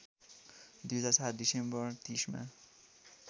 २००७ December ३०मा